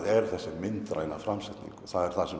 er þessi myndræna framsetning og það er það sem